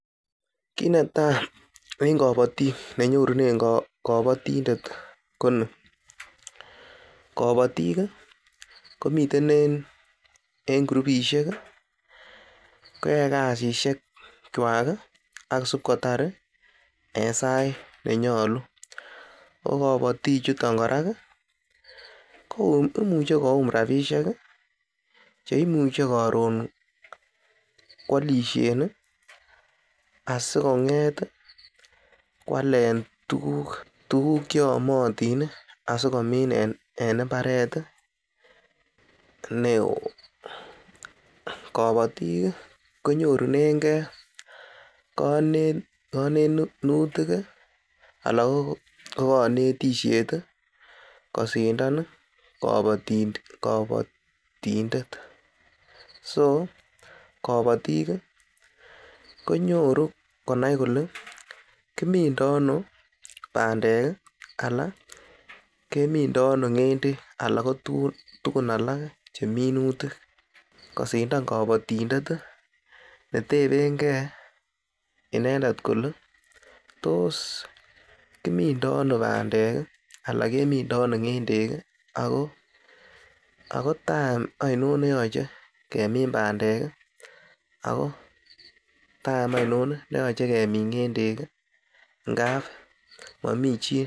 Kit netai en kobotik ne nyorunen kobotindet ko ni: Kobotik komiten en kurupishek koyoe kasishekwak ak isibkotar en sait nenyolu ko kobotik chuton korak koiimuche koyum rabishek che imuche karon koalishen asikong'et koalen tuguk ch eyomotin asikomin en mbaret neo. Kobotik konyorunenge konetutik ana ko konetishet kosindan kobotindet, so kobotik konyoru konai kole kimindo ano bandek ana kimindo ano ng'endek ana ko tuguk tugun alak che minutik kosindan kobotindet netebenge inendet kole tos kimino ano bandek ana kimindo ano ng'endek ago time ainon neyoche kemin bandek, ago time ainon neyoche kemin ngendek.